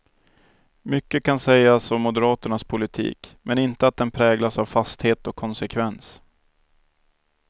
Mycket kan sägas om moderaternas politik, men inte att den präglas av fasthet och konsekvens.